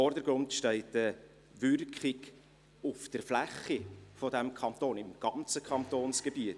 Im Vordergrund steht eine Wirkung auf die Fläche dieses Kantons – im ganzen Kantonsgebiet.